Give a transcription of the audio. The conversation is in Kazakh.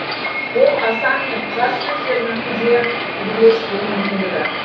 ол асан мен қаз сөздерінің де түбірлес болу мүмкіндігі